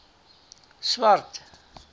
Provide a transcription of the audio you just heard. swart